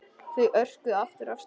Þau örkuðu aftur af stað.